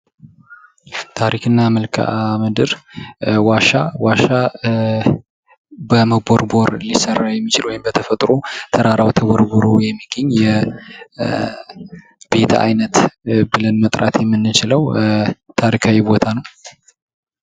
ታሪክና መልካም ምድር ዋሻ ዋሻ በመቦርቦር ሊሰራ የሚችል ወይም በተፈጥሮ ተራራ ተቦርቡሮ የሚገኘ የቤት አይነት ብለን መጥራት የምንችለው ታሪካዊ ቦታ ነው።